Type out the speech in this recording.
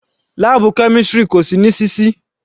Láàbù chemistry kò sí ní sísí.